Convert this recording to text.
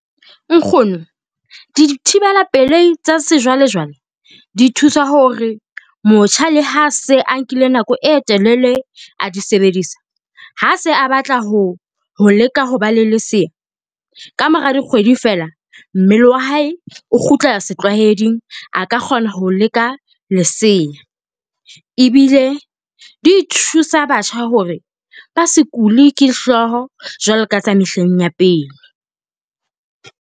Nkgono dithibela pelehi tsa sejwale jwale di thusa hore motjha le ha se a nkile nako e telele a di sebedisa, ha se a batla ho leka ho ba le lesea. Ka mora dikgwedi fela, mmele wa hae o kgutlela setlwaeding a ka kgona ho leka lesea. Ebile di thusa batjha hore ba se kule ke hlooho jwalo ka tsa mehleng ya pele.